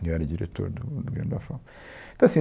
E eu era diretor do do Grêmio da FAU, então assim